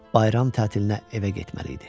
Bayram tətilinə evə getməli idi.